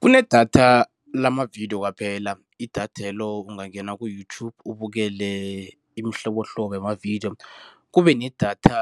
Kunedatha lamavidiyo kwaphela, idathelo ungangena ku-YouTube ubukele imihlobohlobo yamavidiyo. Kube nedatha